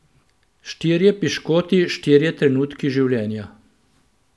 Štirje piškoti, štirje trenutki življenja.